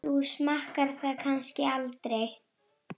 Þú smakkar það kannski aldrei?